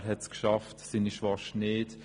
Er hat es geschafft, seine Schwester nicht.